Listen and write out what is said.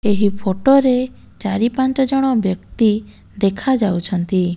ଏହି ଫୋଟୋ ରେ ଚାରି ପାଞ୍ଚ ଜଣ ବ୍ୟକ୍ତି ଦେଖାଯାଉଛନ୍ତି।